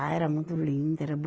Ah, era muito linda, era